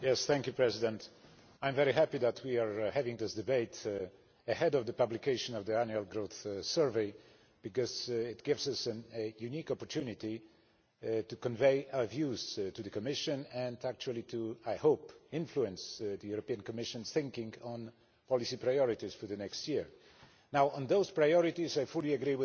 Mr President, I am very happy that we are having this debate ahead of the publication of the Annual Growth Survey, because it gives us a unique opportunity to convey our views to the Commission and actually, I hope, to influence the Commission's thinking on policy priorities for the next year. On those priorities, I fully agree